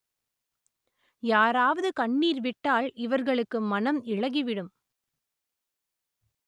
யாராவது கண்ணீர் விட்டால் இவர்களுக்கு மனம் இளகி விடும்